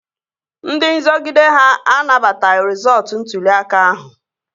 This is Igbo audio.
Ndị nzọgide ha anabataghị rịzọọtu ntụli aka ahụ